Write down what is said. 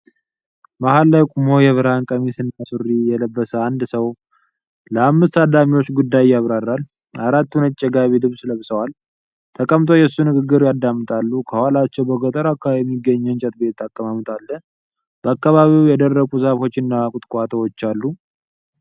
መሃል ላይ ቆሞ የብርሃን ቀሚስና ሱሪ የለበሰ አንድ ሰው ለአምስት ታዳሚዎች ጉዳይ ያብራራል። አራቱ ነጭ የጋቢ ልብስ ለብሰዋል። ተቀምጠው የሱ ንግግር ያደምጣሉ። ከኋላቸው በገጠር አካባቢ የሚገኝ የእንጨት ቤት አቀማመጥ አለ። በአካባቢው የደረቁ ዛፎችና ቁጥቋጦዎች አሉ።